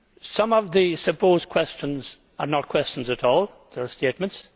Some of the supposed questions are not questions at all, but statements.